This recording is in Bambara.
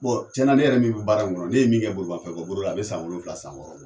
tiɲɛna ne yɛrɛ min bɛ baara in kɔnɔ ne ye min kɛ bolimafɛnboli la a bɛ san wolonwula san wɔɔrɔ bɔ